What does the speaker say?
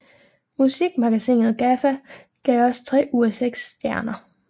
Musikmagasinet GAFFA gav også tre ud af seks stjerner